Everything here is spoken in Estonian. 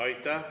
Aitäh!